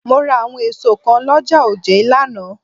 Mo rà àwọn èso kan l'ọ́ja òjé lánàá